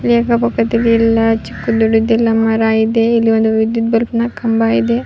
ಚಿಕ್ಕ್ ದೊಡ್ಡದ್ ಎಲ್ಲ ಮರ ಐತೆ ಇಲ್ಲಿ ಒಂದು ವಿದ್ಯುತ್ ಬಲ್ಬ್ ನ ಕಂಬ ಇದೆ.